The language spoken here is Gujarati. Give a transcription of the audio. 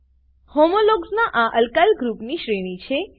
હોમોલોગ્સ ના અલ્કાઈલ ગ્રુપની શ્રેણી છે